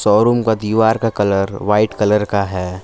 और उनका दीवार का कलर वाइट कलर का है।